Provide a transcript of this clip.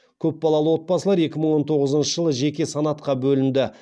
көпбалалы отбасылар екі мың он тоғызыншы жылы жеке санатқа бөлінді